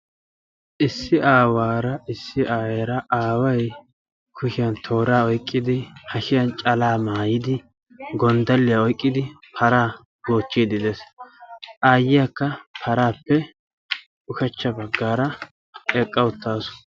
issi aawaara issi ayeera aaway kushiyaan tooraa oyqqidi hashshiyaan calaa maayidi gonddaliyaa oyqqidi paraa goochchiidi de'ees. ayyiyaakka paraappe ushshacha baggaara eqqa uttaasu.